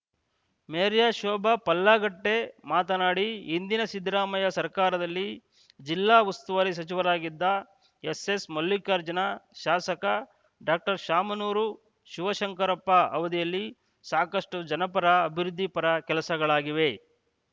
ಮೇರಿಯ ಶೋಭಾ ಪಲ್ಲಾಗಟ್ಟೆಮಾತನಾಡಿ ಹಿಂದಿನ ಸಿದ್ದರಾಮಯ್ಯ ಸರ್ಕಾರದಲ್ಲಿ ಜಿಲ್ಲಾ ಉಸ್ತುವಾರಿ ಸಚಿವರಾಗಿದ್ದ ಎಸ್‌ಎಸ್‌ಮಲ್ಲಿಕಾರ್ಜುನ ಶಾಸಕ ಡಾಕ್ಟರ್ ಶಾಮನೂರು ಶಿವಶಂಕರಪ್ಪ ಅವದಿಯಲ್ಲಿ ಸಾಕಷ್ಟುಜನಪರ ಅಭಿವೃದ್ಧಿ ಪರ ಕೆಲಸಗಳಾಗಿವೆ